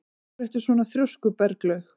Af hverju ertu svona þrjóskur, Berglaug?